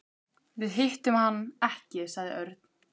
Við hittum hann ekki sagði Örn.